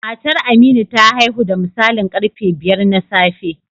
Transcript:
Matar Aminu ta haihu da misalin karfe biyar na safe